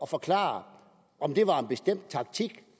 forklare om det var en bestemt taktik